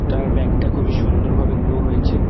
তার ব্যাক -টা খুবই সুন্দর ভাবে গ্রোও হয়েছে।